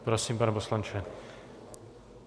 Prosím, pane poslanče.